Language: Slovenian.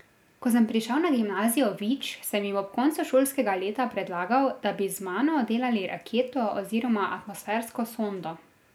Ko sem prišel na gimnazijo Vič, sem jim ob koncu šolskega leta predlagal, da bi z mano delali raketo oziroma atmosfersko sondo.